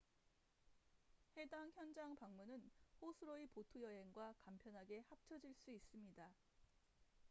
해당 현장 방문은 호수로의 보트 여행과 간편하게 합쳐질 수 있습니다